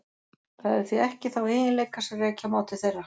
Það hefur því ekki þá eiginleika sem rekja má til þeirra.